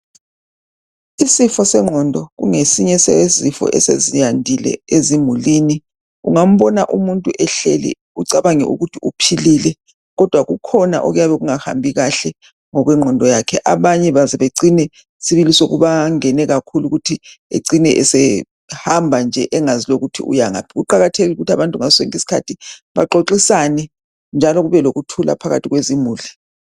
Isifo sengqondo kungesinye sesifo esezandile ezimulini ,ungambona umuntu ehleli ucabange ukuthi uphilile kodwa kukhona okuyabe kungahambi kahle ngokwegqondo yakhe abanye bazibecine sibili sokubangene kakhulu ukuthi ecine esehamba nje engazi ukuthi uyangaphi ,kuqakathekile ukuthi abantu ngasonke isikhathi baxoxisane njalo kube lokuthula phakathi kwezimuli .